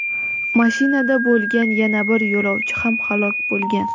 mashinada bo‘lgan yana bir yo‘lovchi ham halok bo‘lgan.